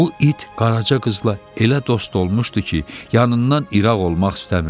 Bu it Qaraca qızla elə dost olmuşdu ki, yanından iraq olmaq istəmirdi.